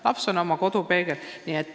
Laps on oma kodu peegel.